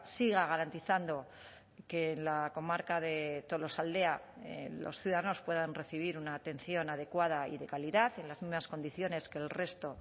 siga garantizando que la comarca de tolosaldea los ciudadanos puedan recibir una atención adecuada y de calidad en las mismas condiciones que el resto